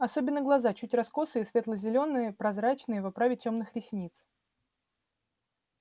особенно глаза чуть раскосые светло-зелёные прозрачные в оправе тёмных ресниц